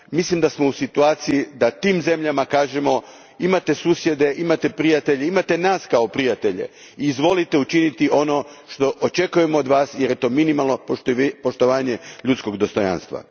Mislim da smo u situaciji da tim zemljama kažemo imate susjede, imate prijatelje, imate nas kao prijatelje, izvolite učiniti ono što očekujemo od vas jer je to minimalno poštovanje ljudskog dostojanstva.